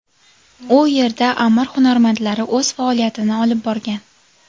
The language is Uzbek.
U yerda amir hunarmandlari o‘z faoliyatini olib borgan.